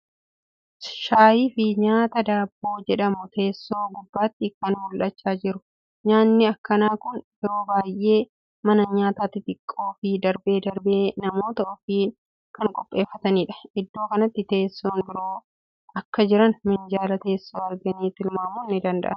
Shaayii fii nyaata daabboo jedhamu teessoo gubbaatti kan mul'achaa jiru. Nyaatni akkanaa kuni yeroo baay'ee mana nyaataa xixiqqoo fii darbee darbee namootni ofiin kan qopheeffataniidha. Iddoo kanatti teessoon biroo akka jiran minjala teessoo arganii tilmaamun ni danda'ama.